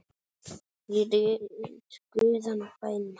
Í guðanna bænum hættu